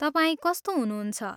तपाईँ कस्तो हुनुहुन्छ?